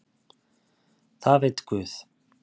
Það veit Guð!